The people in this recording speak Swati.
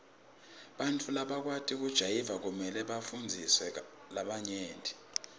bantfu labakwati kujayiva kumele bafundzise labanye